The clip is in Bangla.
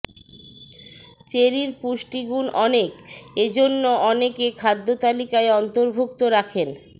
চেরির পুষ্টিগুণ অনেক এজন্য অনেকে খাদ্যতালিকায় অন্তর্ভুক্ত রাখেন